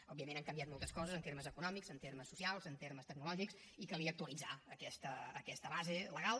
òbviament han canviat moltes coses en termes econòmics en termes socials en termes tecnològics i calia actualitzar aquesta base legal